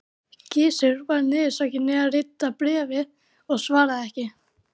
Gizur var niðursokkinn í að rita bréfið og svaraði ekki.